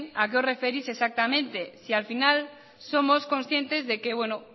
a qué os referís exactamente si al final somos conscientes